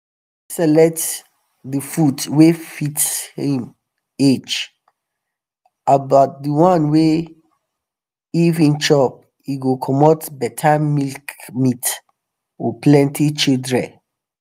make select the food wa fit him um age abd the one wa if him chop e go comot better milkmeat or plenty childre